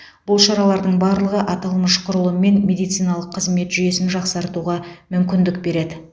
бұл шаралардың барлығы аталмыш құрылым мен медициналық қызмет жүйесін жақсартуға мүмкіндік береді